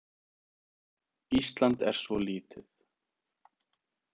Ísland er svo lítið.